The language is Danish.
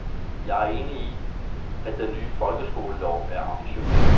Jeg er enig i, at den nye folkeskolelov er ambitiøs.